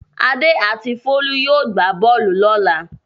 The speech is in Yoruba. Adé and Folú yóò gbá bọ́ọ́lù lọ́la.